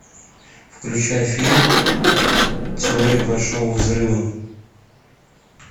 включай фильм теория большого взрыва